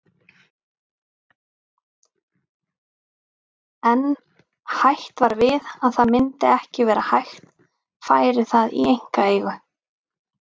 En hætt var við að það myndi ekki vera hægt færi það í einkaeigu.